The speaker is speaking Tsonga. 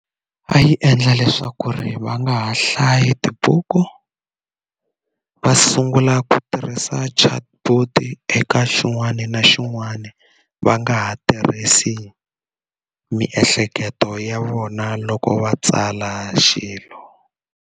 A yi endla leswaku ri va nga ha hlayi tibuku va sungula ku tirhisa chatbot eka xin'wana na xin'wana va nga ha tirhisi miehleketo ya vona loko va tsala xilo.